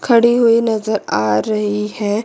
खड़ी हुई नजर आ रही है।